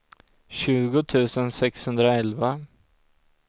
tjugo tusen sexhundraelva